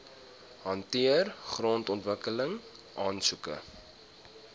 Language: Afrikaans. hanteer grondontwikkeling aansoeke